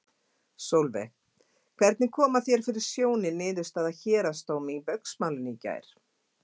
Sólveig: Hvernig koma þér fyrir sjónir niðurstaða héraðsdóms í Baugsmálinu í gær?